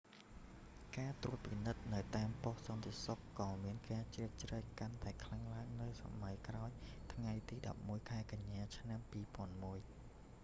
ការត្រួតពិនិត្យនៅតាមប៉ុស្តិ៍សន្តិសុខក៏មានការជ្រៀតជ្រែកកាន់តែខ្លាំងឡើងនៅសម័យក្រោយថ្ងៃទី11 ខែកញ្ញា ឆ្នាំ2001